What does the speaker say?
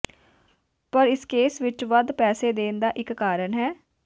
ਪਰ ਇਸ ਕੇਸ ਵਿਚ ਵੱਧ ਪੈਸੇ ਦੇਣ ਦਾ ਇਕ ਕਾਰਨ ਹੈ